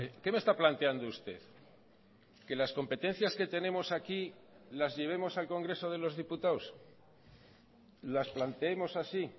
qué me está planteando usted que las competencias que tenemos aquí las llevemos al congreso de los diputados las planteemos así